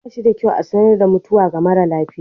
Ba shi da kyau a sanar da mutuwa ga mara lafiya.